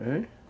Hein?